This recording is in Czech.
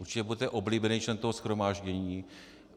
Určitě budete oblíbený člen toho shromáždění.